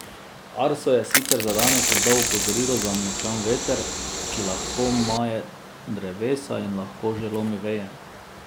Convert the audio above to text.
Arso je sicer za danes izdal opozorilo za močan veter, ki lahko maje drevesa in lahko že lomi veje.